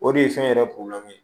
O de ye fɛn yɛrɛ ye